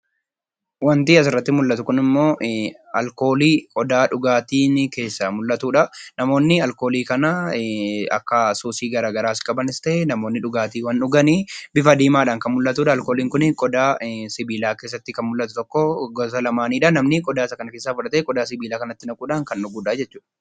Wanti asirratti mul'atu kun ammoo alkoolii qodaa dhugaatii keessaa mul'atudha. Namoonni alkoolii kana kan suusii gara garaas qabanis ta'e, namoonni dhugaatiiwwan dhugan dhuganidha. Alkooliin kun bifa diimaadhaan kan mul'atudha. Qodaa sibiilaa keessatti kan mul'atu tokko gosa lamaanidha. Namni qodaa isa kana keessaa fudhatee qodaa sibiilaa kanatti naquudhaan kan dhugudhaa jechuudha.